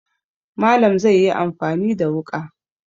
Malam zai yi amfani da wuƙa.